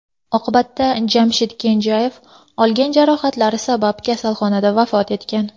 Oqibatda Jamshid Kenjayev olgan jarohatlari sabab kasalxonada vafot etgan.